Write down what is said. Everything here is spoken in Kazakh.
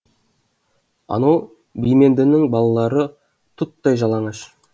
анау бимендінің балалары тұттай жалаңаш